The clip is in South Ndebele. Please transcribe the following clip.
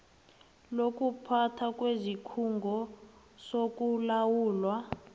lokuphathwa kwesikhungo sokulawulwa